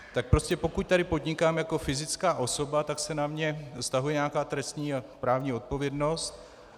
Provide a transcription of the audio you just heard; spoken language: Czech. Tak prostě pokud tady podnikám jako fyzická osoba, tak se na mě vztahuje nějaká trestní a právní odpovědnost.